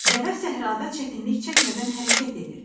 Dəvə səhrada çətinlik çəkmədən hərəkət edir.